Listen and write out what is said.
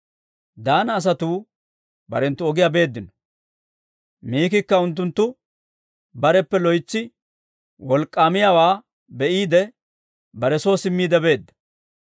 Daana asatuu barenttu ogiyaa beeddino. Mikikka unttunttu bareppe loytsi wolk'k'aamiyaawaa be'iide, bare soo simmiide beedda.